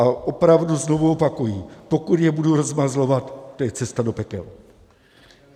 A opravdu znovu opakuji, pokud je budu rozmazlovat, to je cesta do pekel.